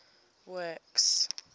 works